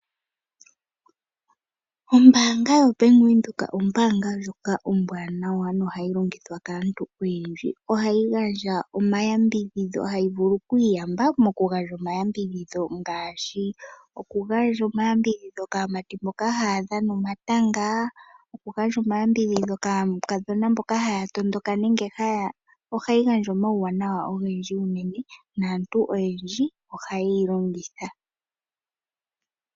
Ombanga yoBank Windhoek ombaanga ndjoka ombwaanawa no hayi longithwa kaantu oyendji, ohayi gandja omayambidhidho yo ohayi vulu okwiiyamba mokugandja omayambidhidho ngaashi kaamati mboka haa dhana omatanga, okugandja omayambidhidho kaakadhona mboka haa tondoka, ombanga ndjika ohayi gandja omayambidhidho ogendji naantu oha ye yi longitha.